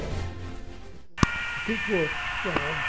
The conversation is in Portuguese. O que foi? Ah